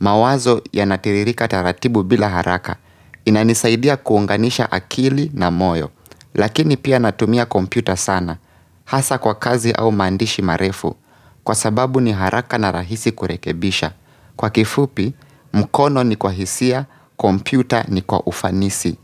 mawazo ya natiririka taratibu bila haraka, inanisaidia kuunganisha akili na moyo, lakini pia natumia kompyuta sana, hasa kwa kazi au maandishi marefu, kwa sababu ni haraka na rahisi kurekebisha. Kwa kifupi, mkono ni kwa hisia, kompita ni kwa ufanisi.